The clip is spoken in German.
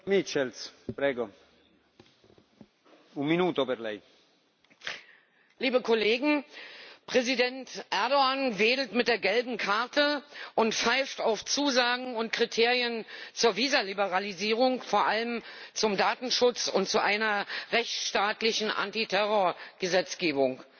Herr Präsident! Liebe Kollegen! Präsident Erdoğan wedelt mit der gelben Karte und pfeift auf Zusagen und Kriterien zur Visaliberalisierung, vor allem zum Datenschutz und zu einer rechtsstaatlichen Antiterrorgesetzgebung.